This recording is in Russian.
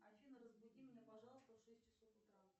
афина разбуди меня пожалуйста в шесть часов утра